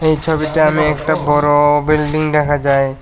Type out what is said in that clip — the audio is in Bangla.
এই ছবিটা আমি একটা বড় বিল্ডিং দেখা যায়।